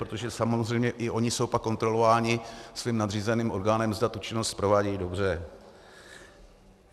Protože samozřejmě i ony jsou pak kontrolovány svým nadřízeným orgánem, zda tu činnost provádějí dobře.